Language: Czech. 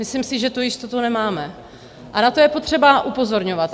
Myslím si, že tu jistotu nemáme, a na to je potřeba upozorňovat.